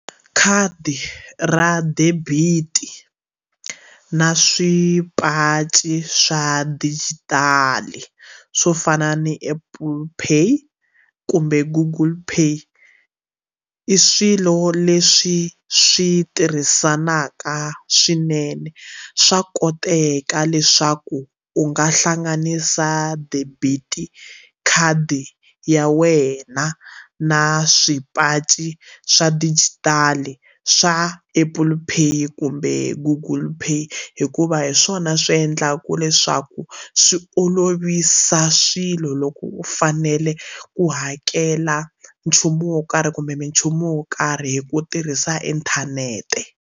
Khadi ra debiti na swipachi swa dijitali swo fana ni Apple pay kumbe Google pay i swilo leswi swi tirhisanaka swinene swa koteka leswaku u nga hlanganisa debit khadi ya wena na swipachi swa dijitali swa Apple pay kumbe Google pay hikuva hi swona swi endlaka leswaku swi olovisa swilo loko u fanele ku hakela nchumu wo karhi kumbe minchumu wo karhi hi ku tirhisa inthanete.